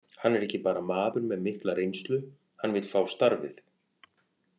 Hann er ekki bara maður með mikla reynslu, hann vill fá starfið.